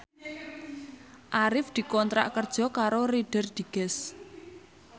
Arif dikontrak kerja karo Reader Digest